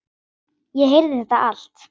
Ég heyrði þetta allt.